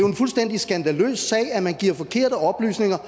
en fuldstændig skandaløs sag at man giver forkerte oplysninger